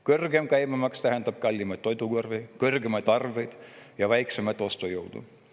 Kõrgem käibemaks tähendab kallimat toidukorvi, kõrgemaid arveid ja väiksemat ostujõudu.